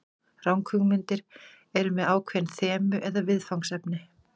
Ranghugmyndir eru með ákveðin þemu eða viðfangsefni.